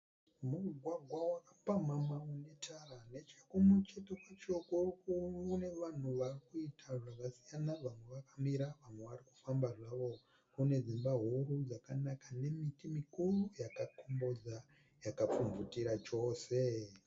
Mugwagwa wakapamhama une tara. Nechekumucheto kwacho kune vanhu vari kuita zvakasiyana vamwe vakamira vamwe vari kufamba zvavo. Kune dzimba huru dzakanaka nemiti mikuru yakakombodza yakapfumvutira chose.